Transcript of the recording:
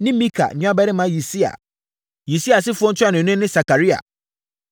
ne Mika nuabarima Yisia. Yisia asefoɔ ntuanoni ne Sakaria.